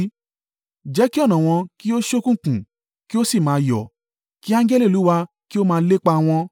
Jẹ́ kí ọ̀nà wọn kí ó ṣókùnkùn, kí ó sì máa yọ́, kí angẹli Olúwa kí ó máa lépa wọn!